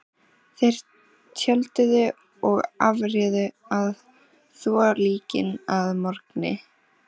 Þeir tjölduðu og afréðu að þvo líkin að morgni.